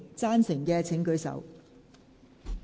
贊成的請舉手。